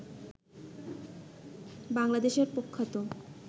বাংলাদেশের প্রখ্যাত